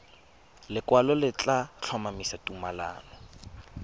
lekwalo le tla tlhomamisa tumalano